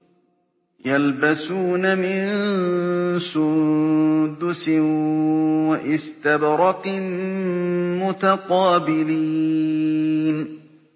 يَلْبَسُونَ مِن سُندُسٍ وَإِسْتَبْرَقٍ مُّتَقَابِلِينَ